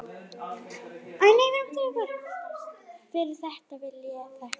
Fyrir þetta vil ég þakka.